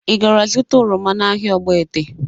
Ị gara zụta oroma n'ahịa Ogbete?